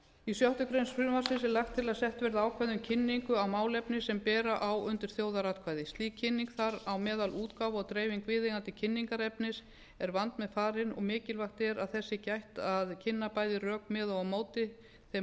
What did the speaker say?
í sjöttu greinar frumvarpsins er lagt til að sett verði ákvæði um kynningu á málefni sem bera á undir þjóðaratkvæði slík kynning þar á meðal útgáfa og dreifing viðeigandi kynningarefnis er vandmeðfarin og mikilvægt er að þess sé gætt að kynna bæði rök með og á móti þeim